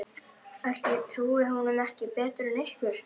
Ætli ég trúi honum ekki betur en ykkur.